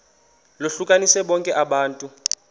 lohlukanise bonke abantu